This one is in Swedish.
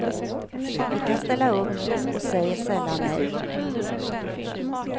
Vi kan ställa upp och säger sällan nej.